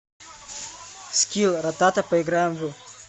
скилл ратата поиграем в